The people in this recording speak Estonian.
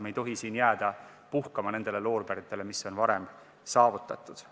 Me ei tohi jääda puhkama nendele loorberitele, mis on varem saavutatud.